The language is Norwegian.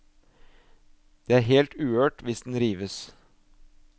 Det er helt uhørt hvis den rives.